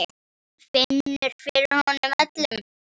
Hún finnur fyrir honum öllum.